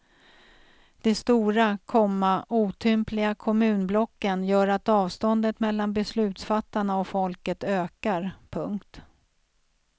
De stora, komma otympliga kommunblocken gör att avståndet mellan beslutsfattarna och folket ökar. punkt